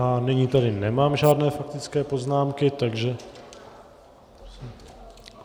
A nyní tady nemám žádné faktické poznámky, takže...